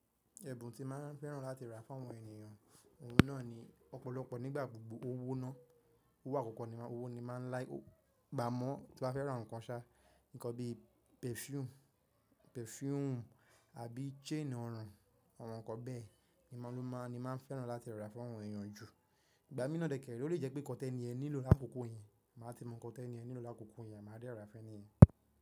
Ẹ̀bùn tí màá fẹ́ràn láti rà fún àwọn ènìyàn, òun náà ni ọ̀pọ̀lọpọ̀ nígbà gbogbo owó náà, owó àkọ́kọ́ ni owó ni màá like amọ́ tí mbá fẹ́ ra nǹkan ṣá, nǹkan bí perfume àbí chain ọrùn, àwọn nǹkan bẹ́ẹ̀ ni màá fẹ́ràn láti rà fún àwọn ènìyàn jù. Ìgbà míràn dẹ̀kẹ̀, ó lè jẹ́ pé nǹkan tẹ́nì ẹ nílò lákòókò yẹn, màá ti mọ nǹkan tẹ́nì yẹn nílò lákòókò yẹn, máà de ra fún ẹ́nìyẹn.